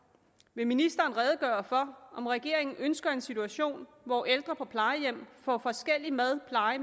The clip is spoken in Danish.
vil ministeren redegøre for om regeringen ønsker en situation hvor ældre på plejehjem får forskellig mad pleje